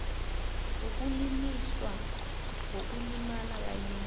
wokuliliswa ngokulimala kanye